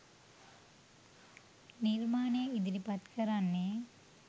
නිර්මාණය ඉදිරිපත් කරන්නෙ.